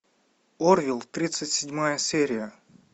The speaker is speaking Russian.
орвилл тридцать седьмая серия